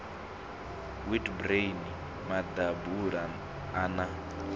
wheat bran maḓabula a na